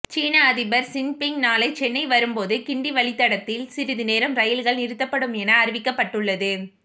சீன அதிபர் ஜின்பிங் நாளை சென்னை வரும்போது கிண்டி வழித்தடத்தில் சிறிதுநேரம் ரயில்கள் நிறுத்தப்படும் என அறிவிக்கப்பட்டுள்ளது